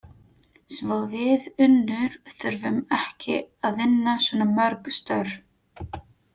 Svo við Unnur þurfum ekki að vinna svona mörg störf